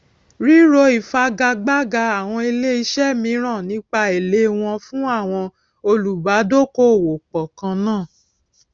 ríro ìfigagbága àwọn ilé iṣé míràn nípa èlé wọn fún àwọn olùbádókòòwòpò kan náà